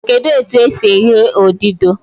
Kedụ etu e si eghe odudu?